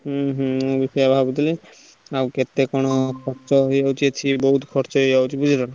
ହୁଁ ହୁଁ ମୁଁ ବି ସେଇଆ ଭାବୁଥିଲି ଆଉ କେତେ କଣ ଖର୍ଚ୍ଚ ହଉଛି ବୋହୁତ ଖର୍ଚ୍ଚ ହଉଛି ବୁଝିଲ।